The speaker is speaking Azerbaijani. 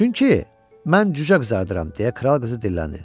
Çünki mən cücə qızardıram deyə kral qızı dilləndi.